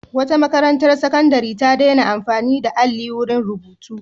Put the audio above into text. Wata makarantar sakandare ta daina amfani da alli wurin rubutu.